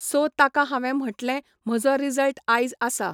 So ताका हांवें म्हटलें म्हजो रिजल्ट आयज आसा.